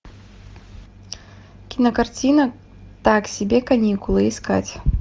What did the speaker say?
кинокартина так себе каникулы искать